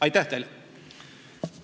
Aitäh teile!